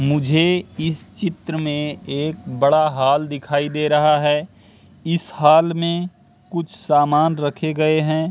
मुझे इस चित्र मे एक बड़ा हॉल दिखाई दे रहा है इस हॉल मे कुछ सामान रखे गये है।